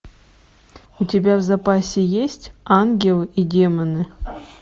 у тебя в запасе есть ангелы и демоны